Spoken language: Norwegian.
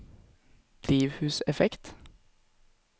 drivhuseffekt